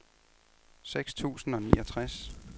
seks tusind og niogtres